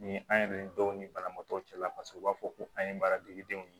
Ni an yɛrɛ ni dɔw ni banabaatɔw cɛla la paseke u b'a fɔ ko an ye baara dege denw ye